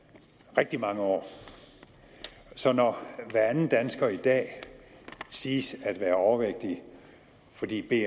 rigtig mange år så når hver anden dansker i dag siges at være overvægtig fordi